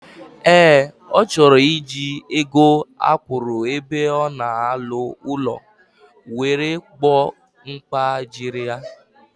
Ee, O choro iji ego akwuru ebe ona alu ulo were gbo mkpa diri ya.